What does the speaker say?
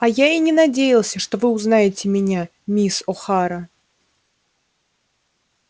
а я и не надеялся что вы узнаете меня мисс охара